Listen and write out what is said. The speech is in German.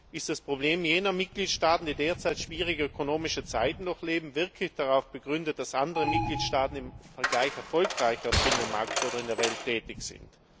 Ist das Problem jener Mitgliedstaaten, die derzeit schwierige ökonomische Zeiten durchleben, wirklich darauf begründet, dass andere Mitgliedstaaten im Vergleich erfolgreicher auf dem Binnenmarkt oder in der Welt tätig sind?